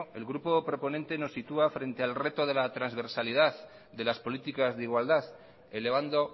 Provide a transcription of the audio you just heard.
el grupo proponente nos situá frente al reto de la transversalidad de las políticas de igualdad elevando